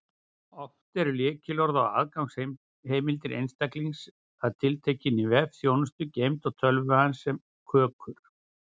Oft eru lykilorð eða aðgangsheimildir einstaklings að tiltekinni vefþjónustu geymd á tölvu hans sem kökur.